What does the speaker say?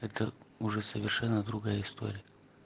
это уже совершенно другая история